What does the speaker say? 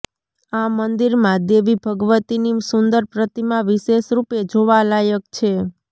આ મંદિરમાં દેવી ભગવતીની સુંદર પ્રતિમા વિશેષ રૂપે જોવા લાયક છે